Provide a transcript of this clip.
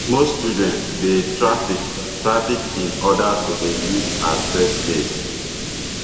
most children dey trafficked trafficked in order to dey used as sex slaves